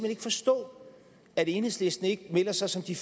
ikke forstå at enhedslisten ikke melder sig som de